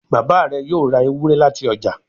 Bàbá rẹ yóò rá Ewúrẹ́ láti ọjà.